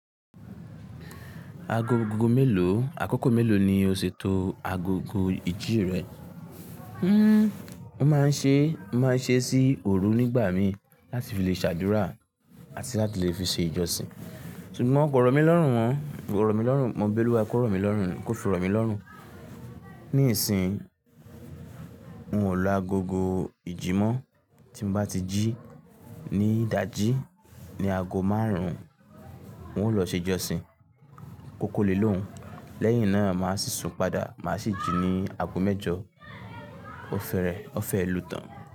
Ago gogo mélòó, àkókò mélòó ni o ṣètò agogo ìjí rẹ? Hmmm, mo máa ń ṣe, màá ṣe sí òru nígbà mi láti fi lè ṣàdúrà àti láti lè fi ṣe ìjọsìn. Ṣùgbọ́n mo kò rọ̀ mí lọ́rùn wọn, kò rọ̀ mí lọ́rùn, mo ń bẹ́lú wa kó rọ̀ mí lọ́rùn, kó fi rọ̀ mí lọ́rùn. Ní ìsìn, n o lo agogo ìjimọ́, tí mo bá ti jí ní ìdájí ní ago márùn-ún, n ó lọ ṣe ìjọsìn kọ́kọ́ lè lóhùn. Lẹ́yìn náà màá sì sùn padà, màá sì jí ní ago mẹ́jọ. O fẹ́rẹ̀, o fẹ́ lu tán.